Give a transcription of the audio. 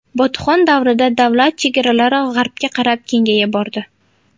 Botuxon davrida davlat chegaralari g‘arbga qarab kengaya bordi.